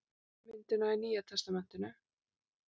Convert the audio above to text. Ummyndunina í Nýja testamentinu.